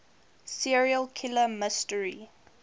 serial killer mystery